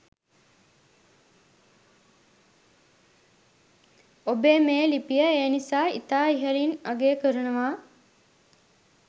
ඔබේ මේ ලිපිය ඒ නිසා ඉතා ඉහලින් අගය කරනවා